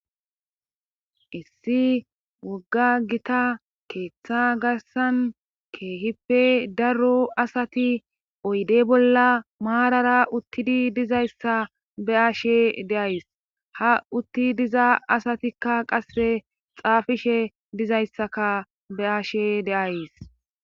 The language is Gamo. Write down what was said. Issi wogga gita keeththa garsan keehippe daro asati oyde bolla maarara uttidi dizayssa be ashe deays ha utti diza asatikka qase xaafishe dizayssaka be ashe de'ays.